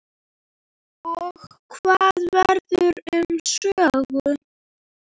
Og hvað verður um Sögu?